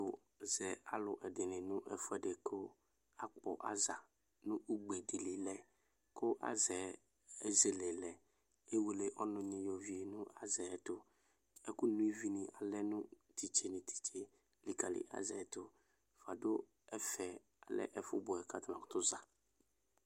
Uzɛ alu ɛdini nu ɛfu ɛdi ku akpɔ aza nu ugbe di li lɛ ku aza yɛ ezele lɛ Ewele ɔnuni yɔ vie nu aza ɛtu Ɛku no ivi lɛ nu titi nu titi likali aza yɛ tu Fua du ɛfɛ lɛ ɛfu ɔbuɛ ku atani makutu za